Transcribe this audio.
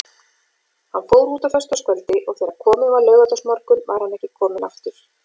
Hann fór út á föstudagskvöldi og þegar kominn var laugardagsmorgunn var hann ekki kominn aftur.